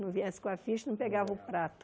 Não viesse com a ficha, não pegava o prato.